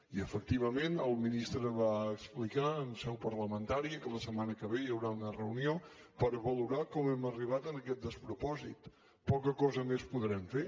i efectivament el ministre va explicar en seu parlamentària que la setmana que ve hi haurà una reunió per valorar com hem arribat a aquest despropòsit poca cosa més podrem fer